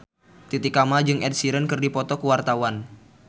Titi Kamal jeung Ed Sheeran keur dipoto ku wartawan